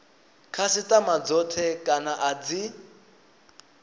khasitama dzothe kana a dzi